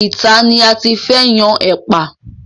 Ìta ni a ti fẹ́ yan ẹ̀pà.